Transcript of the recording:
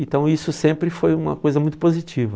Então isso sempre foi uma coisa muito positiva.